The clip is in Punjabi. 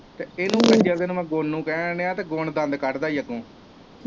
ਤੇ ਇਨੂੰ ਜਦੋਂ ਗੁਣ ਨੂੰ ਕਹਿਣ ਦਿਆਂ ਤੇ ਗੁਣ ਦੰਦ ਕੱਡਦਾ ਆ ਅੱਗੋਂ।